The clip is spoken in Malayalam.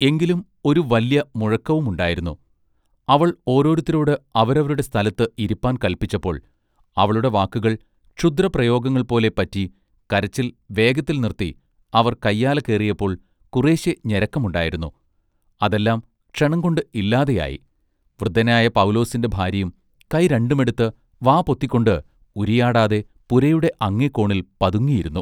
എങ്കിലും ഒരു വല്യ മുഴക്കവുമുണ്ടായിരുന്നു. അവൾ ഓരോരുത്തരോട് അവരവരുടെ സ്ഥലത്ത് ഇരിപ്പാൻ കല്പിച്ചപ്പോൾ അവളുടെ വാക്കുകൾ ക്ഷുദ്ര പ്രയോഗങ്ങൾ പോലെ പറ്റി കരച്ചിൽ വേഗത്തിൽ നിർത്തി അവർ കയ്യാല കേറിയപ്പോൾ കുറേശ്ശെ ഞരക്കമുണ്ടായിരുന്നു അതെല്ലാം ക്ഷണം കൊണ്ട് ഇല്ലാതെ ആയി വൃദ്ധനായ പൗലോസിന്റെ ഭാര്യയും കൈ രണ്ടുമെടുത്ത് വാപൊത്തിക്കൊണ്ട് ഉരിയാടാതെ പുരയുടെ അങ്ങേ കോണിൽ പതുങ്ങിയിരുന്നു.